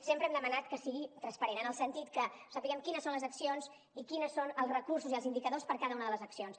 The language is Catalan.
sempre hem demanat que sigui transparent en el sentit que sapiguem quines són les accions i quins són els recursos i els indicadors per cada una de les accions